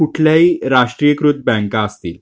म्हणजे कुठल्याही राष्ट्रीयकृत बँका असतील.